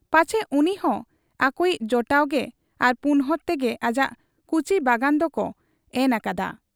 ᱯᱟᱪᱷᱮ ᱩᱱᱤᱦᱚᱸ ᱟᱠᱚᱭᱤᱡ ᱡᱚᱴᱟᱣᱜᱮ ᱟᱨ ᱯᱩᱱᱦᱚᱲ ᱛᱮᱜᱮ ᱟᱡᱟᱜ ᱠᱩᱪᱤ ᱵᱟᱜᱟᱱ ᱫᱚᱠᱚ ᱮᱱ ᱟᱠᱟᱫ ?